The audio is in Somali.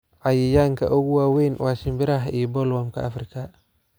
Cayayaanka ugu waaweyn waa shimbiraha iyo bollworm-ka Afrika.